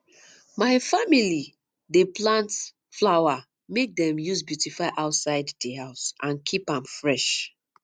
my family dey plant flower make dem use beautify outside di house and keep am fresh